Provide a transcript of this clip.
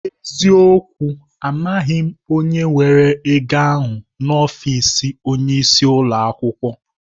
N'eziokwu! Amaghị m onye were ego ahụ n'ọfịs onyeisi ụlọ akwụkwọ.